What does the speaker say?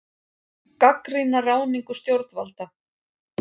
Gagnrýna ráðningu stjórnvalda